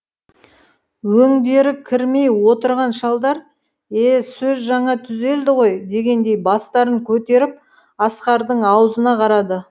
өңдері кірмей отырған шалдар е сөз жаңа түзелді ғой дегендей бастарын көтеріп асқардың аузына қарады